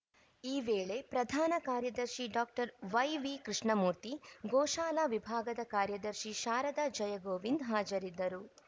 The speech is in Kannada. ಈ ವೇಳೆ ಪ್ರಧಾನ ಕಾರ್ಯದರ್ಶಿ ಡಾಕ್ಟರ್ ವೈವಿ ಕೃಷ್ಣಮೂರ್ತಿ ಗೋಶಾಲಾ ವಿಭಾಗದ ಕಾರ್ಯದರ್ಶಿ ಶಾರದಾ ಜಯಗೋವಿಂದ್‌ ಹಾಜರಿದ್ದರು